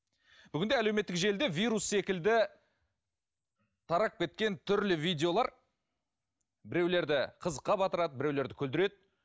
бүгінде әлеуметтік желіде вирус секілді тарап кеткен түрлі видеолар біреулерді қызыққа батырады біреулерді күлдіреді